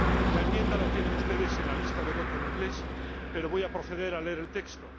La enmienda la tienen ustedes en la lista de votación en inglés, pero voy a proceder a leer el texto.